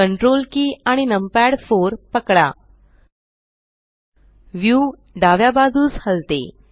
Ctrl की आणि numpad 4 पकडा व्यू डाव्या बाजूस हलते